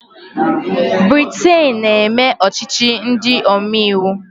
Briten na-eme ọchịchị ndị omeiwu.